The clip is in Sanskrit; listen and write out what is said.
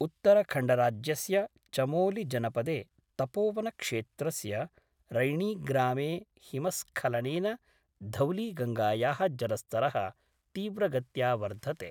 उत्तरखंडराज्यस्य चमोलि जनपदे तपोवनक्षेत्रस्य रैणीग्रामे हिमस्खलनेन धौलीगंगाया: जलस्तर: तीव्रगत्या वर्धते।